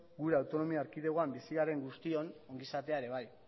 gure autonomia erkidegoan bizi garen guztion ongizatea ere bai